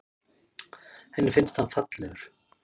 Henni finnst hann fallegur.